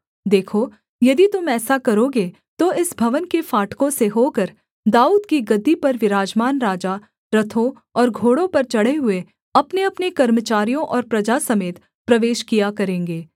देखो यदि तुम ऐसा करोगे तो इस भवन के फाटकों से होकर दाऊद की गद्दी पर विराजमान राजा रथों और घोड़ों पर चढ़े हुए अपनेअपने कर्मचारियों और प्रजा समेत प्रवेश किया करेंगे